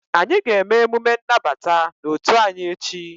Anyị ga-eme emume nnabata n'otu anyị echi